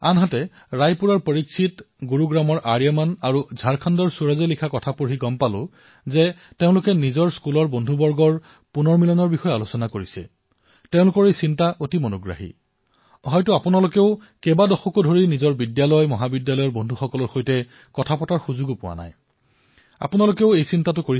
ৰায়পুৰৰ পৰীক্ষিত গুৰুগ্ৰামৰ আৰ্যমন আৰু ঝাৰখণ্ডৰ সুৰজৰ পোষ্টত তেওঁলোকে বিদ্যালয়ৰ বন্ধুসকলৰ সৈতে ইৰিইউনিয়ন কৰাৰ আলোচনাৰ বিষয়ে লিখিছে